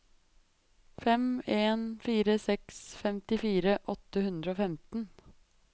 fem en fire seks femtifire åtte hundre og femten